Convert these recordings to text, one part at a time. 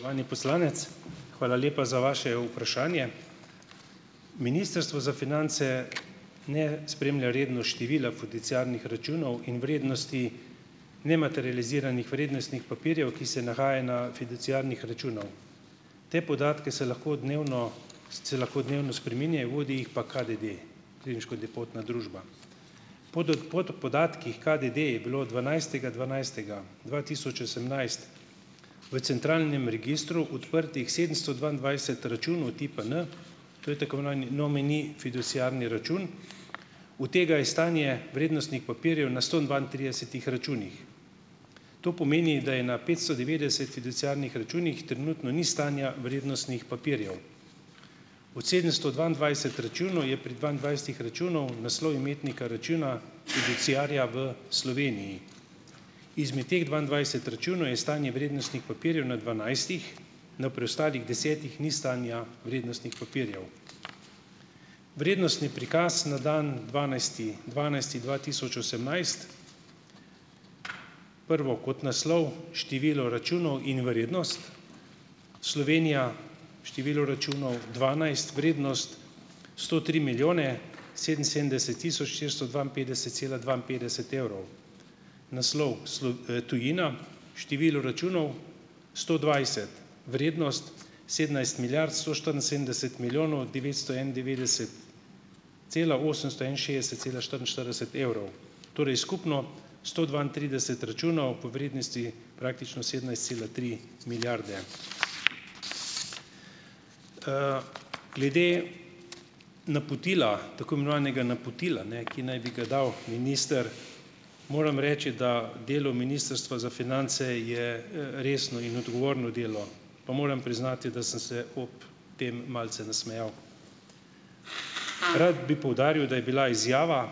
Spoštovani poslanec, hvala lepa za vaše vprašanje. Ministrstvo za finance ne spremlja redno števila fiduciarnih računov in vrednosti nematerializiranih vrednostnih papirjev, ki se nahaja na fiduciarnih računih. Ti podatki se lahko dnevno se lahko dnevno spreminjajo, vodi jih pa KDD - Klirinško depotna družba. Po pod podatkih KDD je bilo dvanajstega dvanajstega dva tisoč osemnajst v centralnem registru odprtih sedemsto dvaindvajset računov tipa N, to je tako imenovani nomini fiduciarni račun. Od tega je stanje vrednostnih papirjev na sto dvaintridesetih računih. To pomeni, da je na petsto devetdeset fiduciarnih računih trenutno ni stanja vrednostnih papirjev. Od sedemsto dvaindvajset računov je pri dvaindvajsetih računih naslov imetnika računa fiduciarja v Sloveniji. Izmed teh dvaindvajset računov je stanje vrednostnih papirjev na dvanajstih, na preostalih desetih ni stanja vrednostnih papirjev. Vrednostni prikaz na dan dvanajsti dvanajsti dva tisoč osemnajst prvo kot naslov: Število računov in vrednost. Slovenija: število računov dvanajst, vrednost sto tri milijone sedeminsedemdeset tisoč štiristo dvainpetdeset cela dvainpetdeset evrov. Naslov tujina: število računov sto dvajset vrednost sedemnajst milijard sto štiriinsedemdeset milijonov devetsto enaindevetdeset cela osemsto enainšestdeset cela štiriinštirideset evrov. Torej skupno: sto dvaintrideset računov po vrednosti praktično sedemnajst cela tri milijarde. Glede napotila, tako imenovanega napotila, ne, ki naj bi ga dal minister, moram reči, da delo Ministrstva za finance je, resno in odgovorno delo, pa moram priznati, da sem se ob tem malce nasmejal. Rad bi poudaril, da je bila izjava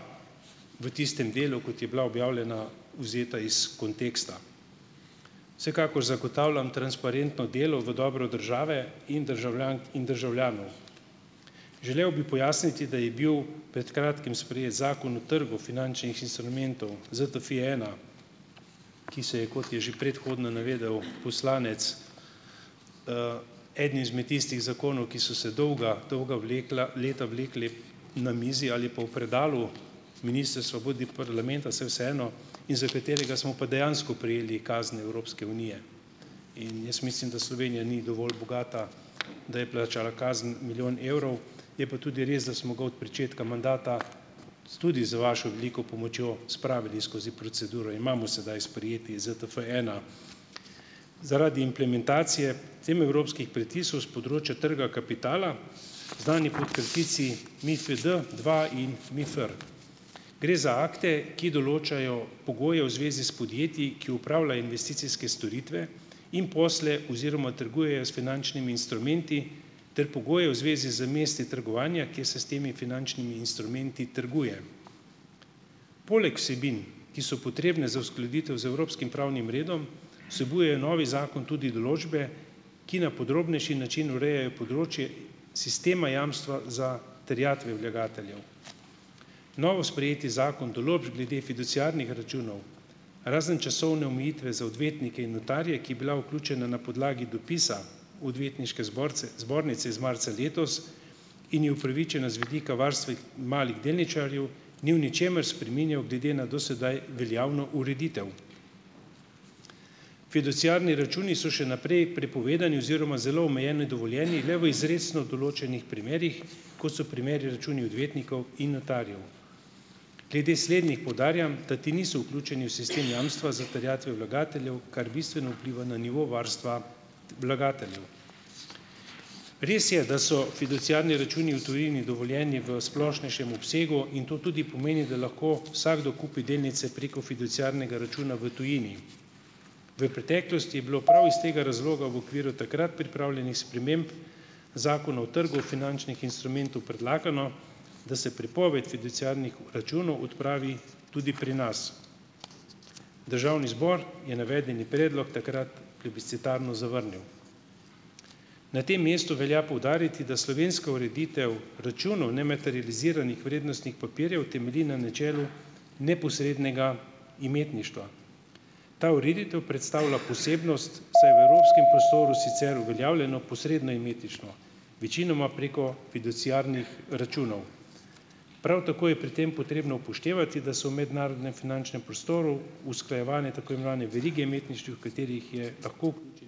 v tistem delu, kot je bila objavljena, vzeta iz konteksta. Vsekakor zagotavljam transparentno delo v dobro države in državljank in državljanov. Želel bi pojasniti, da je bil pred kratkim sprejeti Zakon o trgu finančnih instrumentov ZTFI ena, ki se je, kot je že predhodno navedel poslanec. Eden izmed tistih zakonov, ki so se dolga, dolga vlekla leta vlekli na mizi, ali pa v predalu ministrstva, bodi parlamenta, saj je vseeno, in za katerega smo pa dejansko prejeli kazni Evropske unije. In jaz mislim, da Slovenija ni dovolj bogata, da je plačala kazen milijon evrov, je pa tudi res, da smo ga od pričetka mandata tudi z vašo veliko pomočjo spravili skozi proceduro. Imamo sedaj sprejeti ZTF ena. Zaradi implementacije teh evropskih pritiskov s področja trga kapitala, znani pot kratici MIFID dva in MIFR. Gre za akte, ki določajo pogoje v zvezi s podjetji, ki opravljajo investicijske storitve in posle oziroma trgujejo s finančnimi instrumenti, ter pogoje v zvezi z mesti trgovanja, kjer se s temi finančnimi instrumenti trguje. Poleg vsebin, ki so potrebne za uskladitev z evropskim pravnim redom, vsebuje novi zakon tudi določbe, ki na podrobnejši način urejajo področje sistema jamstva za terjatve vlagateljev. Novosprejeti zakon določb glede fiduciarnih računov razen časovne omejitve za odvetnike in notarje, ki je bila vključena na podlagi dopisa Odvetniške zborce zbornice iz marca letos in je upravičena z vidika varstva malih delničarjev, ni v ničemer spreminjal glede na do sedaj veljavno ureditev. Fiduciarni računi so še naprej prepovedani oziroma z zelo omejenimi dovoljenji, le v izrecno določnih primerih, kot so primeri računi odvetnikov in notarjev. Glede slednjih poudarjam, da ti niso vključeni v sistem jamstva za terjatve vlagateljev, kar bistveno vpliva na nivo varstva vlagateljev. Res je, da so fiduciarni računi v tujini dovoljeni v splošnejšem obsegu in to tudi pomeni, da lahko vsakdo kupi delnice preko fiduciarnega računa v tujini. V preteklosti je bilo prav iz tega razloga v okviru takrat pripravljenih sprememb Zakona o trgu finančnih instrumentov predlagano, da se prepoved fiduciarnih računov odpravi tudi pri nas. Državni zbor je navedeni predlog takrat plebiscitarno zavrnil. Na tem mestu velja poudariti, da slovenska ureditev računov nematerializiranih vrednostnih papirjev temelji na načelu neposrednega imetništva. Ta ureditev predstavlja posebnost, saj je v evropskem prostoru sicer uveljavljeno posredno imetništvo. Večinoma preko fiduciarnih računov. Prav tako je pri tem potrebno upoštevati, da so v mednarodnem finančnem prostoru usklajevane tako imenovane verige imetniških, v katerih je lahko vključenih več investicijskih podjetij ali bank.